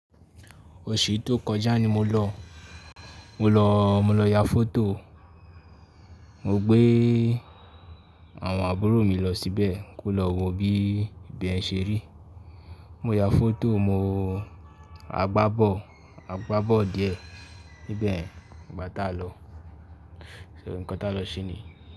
Oṣù tó kọjá ni mo lọ, mo lọ, mo lọ ya foto. Mo gbé àwọn àbúrò mi lọ síbẹ̀ kí ó lọ wo bí ibẹ̀ ṣe rí. Mo ya foto, mo-- a gbá bọ̀ọlu, a gbá bọ̀ọlu díẹ̀ níbẹ̀ nígbà tá a lọ, ṣo òun nkn tá a lọ síní.